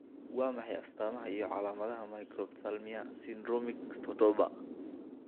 Waa maxay astamaha iyo calaamadaha Microphthalmia syndromic todoba?